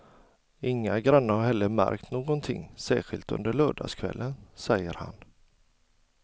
Inga grannar har heller märkt någonting särskilt under lördagskvällen, säger han.